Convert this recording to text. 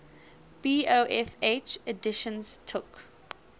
bofh editions took